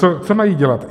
Co mají dělat?